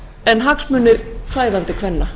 en hagsmunir fæðandi kvenna